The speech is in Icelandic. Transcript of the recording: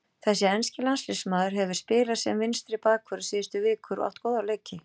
Þessi enski landsliðsmaður hefur spilað sem vinstri bakvörður síðustu vikur og átt góða leiki.